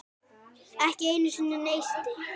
Ekki einu sinni neisti.